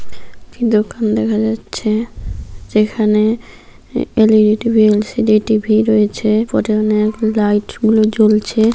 দোকান দেখা যাচ্ছে যেখানে এল.ই.ডি টি.ভি. এল.সি.ডি টি.ভি রয়েছে লাইট গুলো জ্বলছে।